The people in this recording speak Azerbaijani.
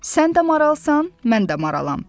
Sən də maralsan, mən də maralam.